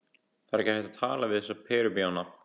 Það er ekki hægt að tala við þessa perubjána.